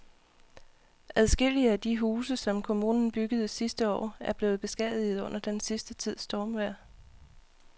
Adskillige af de huse, som kommunen byggede sidste år, er blevet beskadiget under den sidste tids stormvejr.